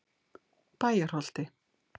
Bæjarholti